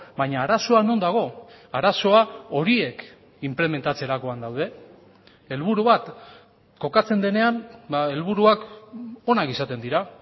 baina arazoa non dago arazoa horiek inplementatzerakoan daude helburu bat kokatzen denean helburuak onak izaten dira